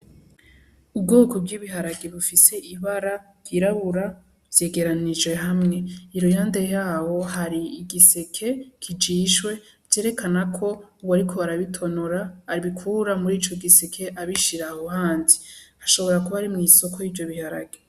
Ubwoko bw'ibiharage bufise ibara ry'irabura vyegeranije hamwe, iruhande yaho hari igiseke kijishwe vyerekana ko uwo ariko arabitonora abikura muri ico giseke abishira aho handi hashobora kuba ari mw'isoko y'ivyo biharage.